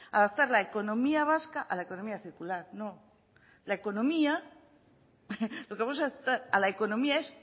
adaptar la economía vasca a la economía circular no lo que vamos a adaptar a la economía es